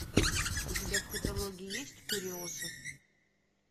у тебя в каталоге есть куриоса